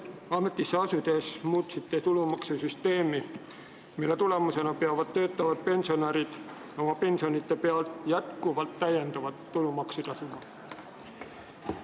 Ametisse asunud, muutsite te tulumaksusüsteemi, mille tulemusena peavad töötavad pensionärid oma pensionite pealt täiendavat tulumaksu tasuma.